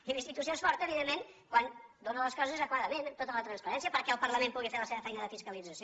i la institució és forta evidentment quan dóna les coses adequadament amb tota la transparència perquè el parlament pugui fer la seva feina de fiscalització